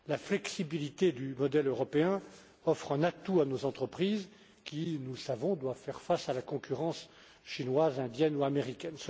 La flexibilité du modèle européen offre un atout à nos entreprises qui, nous le savons, doivent faire face à la concurrence chinoise, indienne ou américaine.